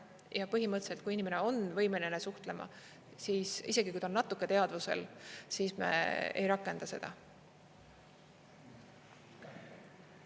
Ja põhimõtteliselt, kui inimene on võimeline suhtlema, siis isegi, kui ta on natuke teadvusel, siis me ei rakenda seda.